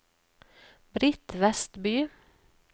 Britt Westby